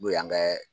N'o y'an kɛ